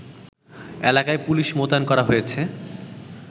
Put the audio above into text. এলাকায় পুলিশ মোতায়েন করা হয়েছে